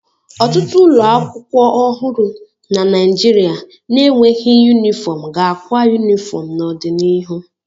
Ọtụtụ ụlọ akwụkwọ ọhụrụ na Naijiria na-enweghị yunifọm ga-akwa yunifọm n'ọdịnihu.